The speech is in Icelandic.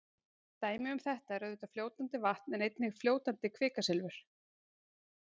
Dæmi um þetta er auðvitað fljótandi vatn en einnig fljótandi kvikasilfur.